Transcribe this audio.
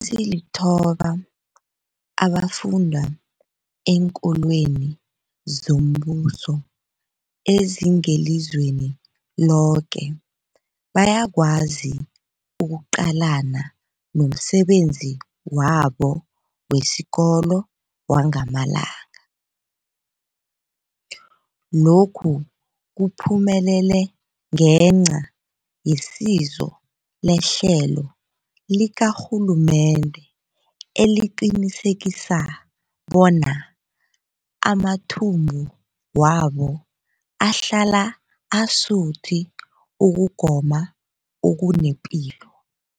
Ezilithoba abafunda eenkolweni zombuso ezingelizweni loke bayakwazi ukuqalana nomsebenzi wabo wesikolo wangamalanga. Lokhu kuphumelele ngenca yesizo lehlelo likarhulumende eliqinisekisa bona amathumbu wabo ahlala asuthi ukugoma okunepilo.